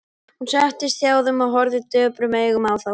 Hún settist hjá þeim og horfði döprum augum á þá.